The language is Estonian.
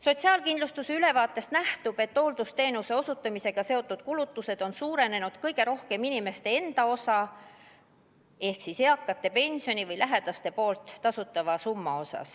Sotsiaalkindlustusameti ülevaatest nähtub, et hooldusteenuse osutamisega seotud kulutustes on suurenenud kõige rohkem inimeste enda osa ehk siis eakate pensionist või lähedaste poolt tasutav summa.